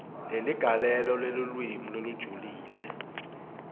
kweligalelo lelulwimi lolujulile